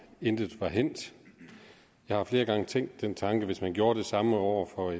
intet var hændt jeg har flere gange tænkt den tanke at hvis man gjorde det samme over for